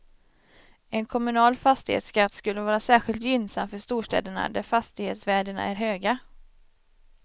En kommunal fastighetsskatt skulle vara särskilt gynnsam för storstäderna, där fastighetsvärdena är höga.